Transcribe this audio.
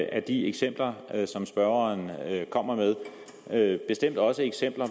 er de eksempler som spørgeren kommer med bestemt også eksempler